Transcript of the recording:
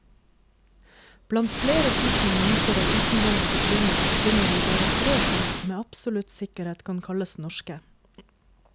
Blant flere tusen mynter av utenlandsk opprinnelse, finner vi bare tre som med absolutt sikkerhet kan kalles norske.